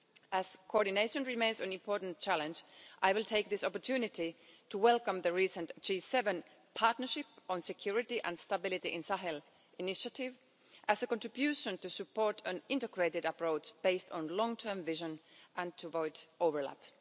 As coordination remains an important challenge, I will take this opportunity to welcome the recent G7 Partnership on Security and Stability in Sahel initiative as a contribution to support an integrated approach based on long term vision and to avoid overlap.